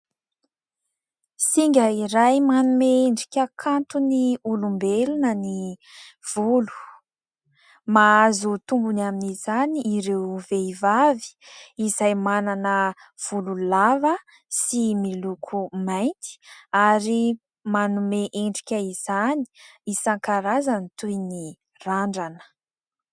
Singa iray manome endrika kanto ny olombelona ny volo. Mahazo tombony amin'izany ireo vehivavy izay manana volo lava sy miloko mainty ary manome endrika izany isankarazany toy ny randrana.